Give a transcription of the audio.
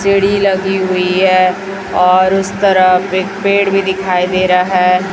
टेढ़ी लगी हुई है और उस तरफ एक पेड़ भी दिखाई दे रहा है।